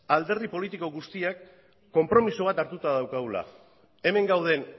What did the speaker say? alderdi politiko guztiak konpromiso bat hartuta daukagula hemen gauden